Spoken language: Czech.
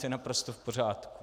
To je naprosto v pořádku.